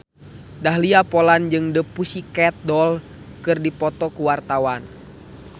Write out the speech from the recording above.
Dahlia Poland jeung The Pussycat Dolls keur dipoto ku wartawan